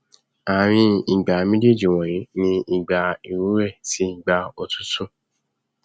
ààrin ìgbà méjéèjì wọnyí ni ìgbà ìrúwé tí ìgbà òtútù